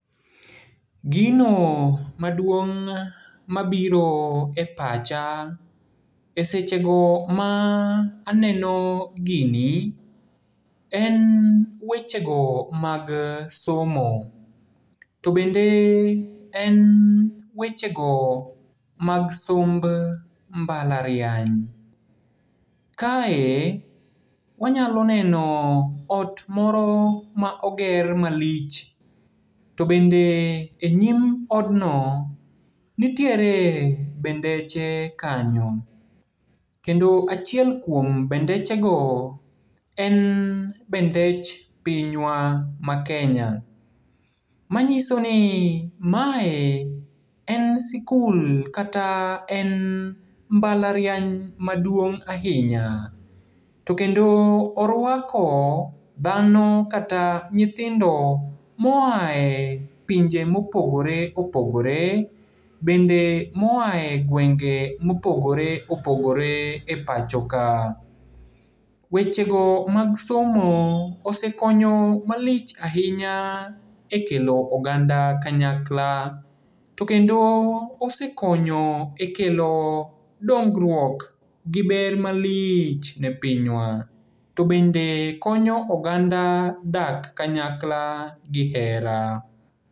Gino maduong' mabiro e pacha e sechego ma aneno gini, en wechego mag somo. To bende en wechego mag somb mbala riany. Kae, wanyalo neno ot moro ma oger malich, to bende e nyim odno, nitiere bendeche kanyo. Kendo achiel kuom bendechego en bendech pinywa maKenya. Manyisoni mae en sikul, kata en mbala riany maduong' ahinya. To kendo oruako dhano kata nyithindo moae pinje mopogore opogore, bende moae gwenge mopogore opogore e pacho ka. Wechego mag somo osekonyo malich ahinya e kelo oganda kanyakla. To kendo osekonyo e kelo dongruok, gi ber malich ne pinywa. To bende konyo oganda dak kanyakla gi hera.